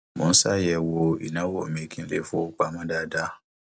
mo ń ṣàyẹwò ìnáwó mi kí n lè fowó pamọ dáadáa